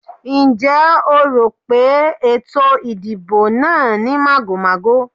Ǹjẹ́ o rò pé ètò ìdìbò náà ní màgòmágó?